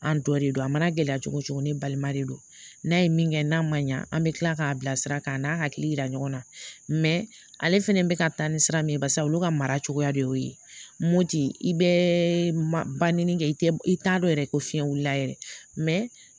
An dɔ de don a mana gɛlɛya cogo cogo ni balima de don n'a ye min kɛ n'a ma ɲa an bɛ kila k'a bila sira kan a n'a hakili yira ɲɔgɔn na ale fana bɛ ka taa ni sira min ye barisa olu ka mara cogoya de y'o ye i bɛ ba ni kɛ i tɛ i t'a dɔn yɛrɛ ko fiɲɛ wulila yɛrɛ